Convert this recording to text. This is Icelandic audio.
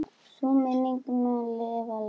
Sú minning mun lifa lengi.